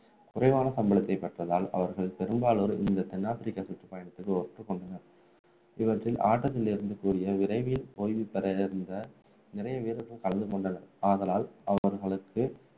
குறைவான சம்பளத்தை பெற்றதால் அவர்கள் பெரும்பாலோர் இந்த தன் ஆப்பிரிக்க சுற்றுப்பயணத்துக்கு ஒப்புக்கொண்டனர் இவற்றில் ஆட்டத்திலிருந்து கூடிய விரைவில் ஓய்வு பெற இருந்த நிறைய வீரர்கள் கலந்து கொண்டனர் ஆதலால் அவர்களுக்கு